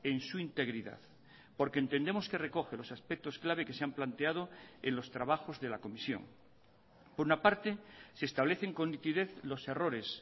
en su integridad porque entendemos que recoge los aspectos clave que se han planteado en los trabajos de la comisión por una parte se establecen con nitidez los errores